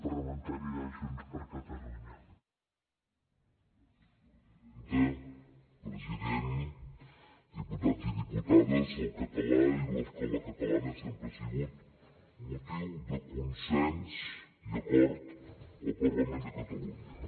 president diputats i diputades el català i l’escola catalana sempre ha sigut motiu de consens i acord al parlament de catalunya